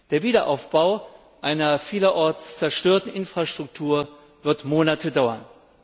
Der Wiederaufbau einer vielerorts zerstörten Infrastruktur wird Monate dauern.